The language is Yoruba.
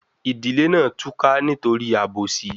Ìdílé náà túká nítorí àbòsí